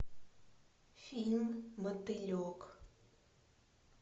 фильм мотылек